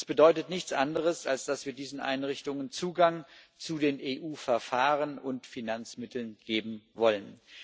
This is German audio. Dies bedeutet nichts anderes, als dass wir diesen Einrichtungen Zugang zu den EU Verfahren und Finanzmitteln geben wollen.